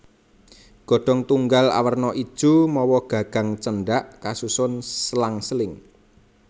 Godhong tunggal awerna ijo mawa gagang cendhak kasusun selang seling